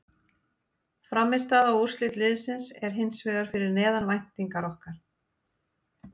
Frammistaða og úrslit liðsins er hins vegar fyrir neðan væntingar okkar.